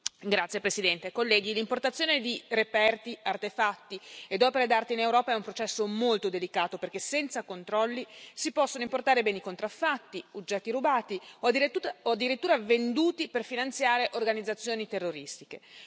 Signor Presidente, onorevoli colleghi, l'importazione di reperti, artefatti e opere d'arte in Europa è un processo molto delicato perché senza controlli si possono importare beni contraffatti, oggetti rubati o addirittura venduti per finanziare organizzazioni terroristiche.